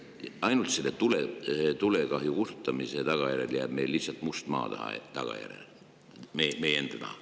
Ainult selle tulekahju kustutamise tagajärjel jääb meist meie enda taha maha must maa.